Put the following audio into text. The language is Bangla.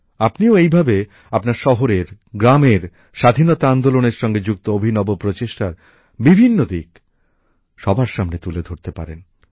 আপনিও এই ভাবে আপনার শহরের গ্রামের স্বাধীনতা আন্দোলনের সঙ্গে যুক্ত অভিনব প্রচেষ্টার বিভিন্ন দিক সবার সামনে তুলে ধরতে পারেন